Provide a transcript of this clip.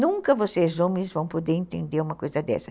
Nunca vocês homens vão poder entender uma coisa dessa.